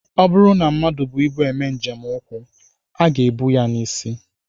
Ọ bụrụ na mmadụ bu ibu eme njem ụkwụ, ọ ga-ebu ya n'isi